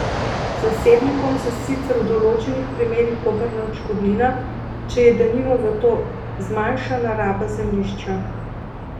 Zasebnikom se sicer v določenih primerih povrne odškodnina, če je denimo zato zmanjšana raba zemljišča.